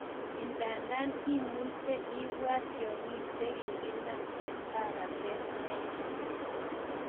Ndadan imuche ipwat tiakyik che kokinam en paratet neya.